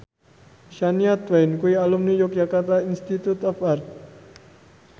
Shania Twain kuwi alumni Yogyakarta Institute of Art